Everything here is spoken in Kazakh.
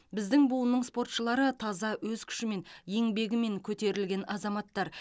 біздің буынның спортшылары таза өз күшімен еңбегімен көтерілген азаматтар